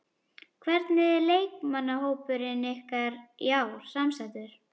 Hvernig er leikmannahópurinn ykkar í ár samsettur?